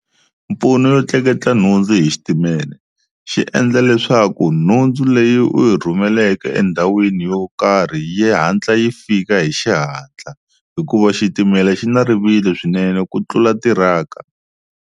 Mpfuno yo tleketla nhundzu hi xitimele xi endla leswaku nhundzu leyi u yi rhumeleke endhawini yo karhi yi hatla yi fika hi xihatla hikuva xitimela xi na rivilo swinene ku tlula tiraka.